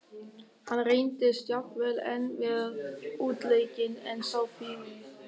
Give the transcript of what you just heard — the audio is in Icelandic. Hann reyndist jafnvel enn verr útleikinn en sá fyrri.